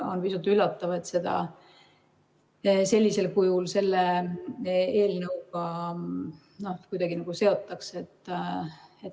On pisut üllatav, et seda sellisel kujul kuidagi selle eelnõuga seotakse.